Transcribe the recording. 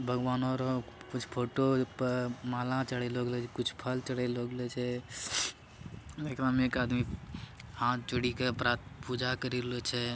भगवानो र कुछ फोटो पर माला चढ़ेलो गेलो छ कुछ फल चढ़ेलो गेलो छे| एकरा में एक आदमी हाथ जोड़ी क प्रा -पूजा करीलो छे।